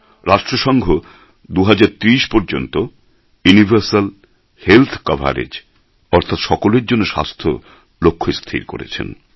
রাষ্ট্র সঙ্ঘ ২০৩০ পর্যন্ত ইউনিভার্সাল হেলথকভারেজ অর্থাৎ সকলের জন্য স্বাস্থ্য লক্ষ্য স্থির করেছেন